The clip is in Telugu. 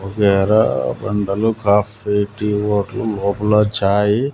ఒక గేరా బండలు కాఫీ టీ హోటల్ లోపల చాయి .